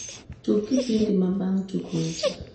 tug kipindi mabang`e tuk weche